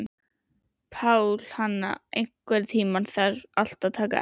Pálhanna, einhvern tímann þarf allt að taka enda.